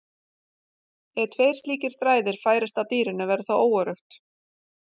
Ef tveir slíkir þræðir færist að dýrinu verði það óöruggt.